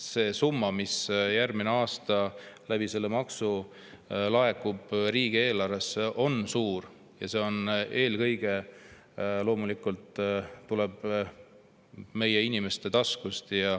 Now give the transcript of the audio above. See summa, mis järgmine aasta selle maksu kaudu laekub riigieelarvesse, on suur ja see tuleb eelkõige loomulikult meie inimeste taskust.